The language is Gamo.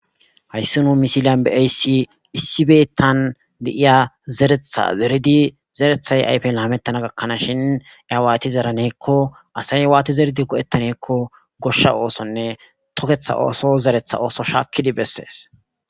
Hayssi nu misiliyan be'aysi issibeetan deiya zeretha zeridi zerethay ayfe laamettana gakkanaas shin iyawaati zeraneekko asay waati zeridi go'hettaneekko goshsha oosonne toketha ooso zeretha ooso shaakkidi bessees